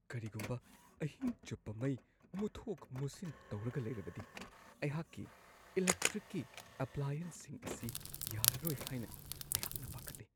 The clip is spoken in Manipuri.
ꯀꯔꯤꯒꯨꯝꯕ ꯑꯍꯤꯡ ꯆꯨꯞꯄ ꯃꯩ ꯃꯨꯊꯣꯛ-ꯃꯨꯠꯁꯤꯟ ꯇꯧꯔꯒ ꯂꯩꯔꯕꯗꯤ ꯑꯩꯍꯥꯛꯀꯤ ꯏꯂꯦꯛꯇ꯭ꯔꯤꯛꯀꯤ ꯑꯦꯄ꯭ꯂꯥꯏꯌꯦꯟꯁꯁꯤꯡ ꯑꯁꯤ ꯌꯥꯔꯔꯣꯏ ꯍꯥꯏꯅ ꯑꯩꯍꯥꯛꯅ ꯄꯥꯈꯠꯂꯤ ꯫ (ꯀꯁꯇꯃꯔ)